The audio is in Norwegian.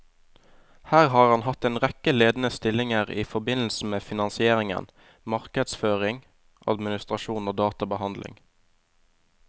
Her har han hatt en rekke ledende stillinger i forbindelse med finansiering, markedsføring, administrasjon og databehandling.